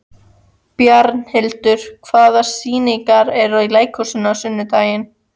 Bjarnhildur, hvaða sýningar eru í leikhúsinu á sunnudaginn?